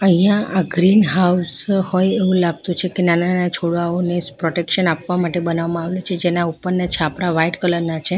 અહીંયા આ green house હોય એવું લાગતું છે કે નાના-નાના છોડવાઓને પ્રોટેક્શન આપવા માટે બનાવવામાં આવ્યું છે જેના ઉપરના છાપરા વાઈટ કલર ના છે.